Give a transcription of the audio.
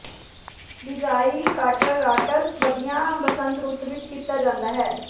ਬਿਜਾਈ ਕਾਟਰਰਾਤਸ ਵਧੀਆ ਬਸੰਤ ਰੁੱਤ ਵਿੱਚ ਕੀਤਾ ਜਾਂਦਾ ਹੈ